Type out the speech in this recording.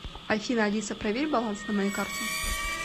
афина алиса проверь баланс на моей карте